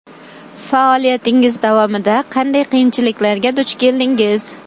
Faoliyatingiz davomida sohada qanday qiyinchiliklarga duch keldingiz?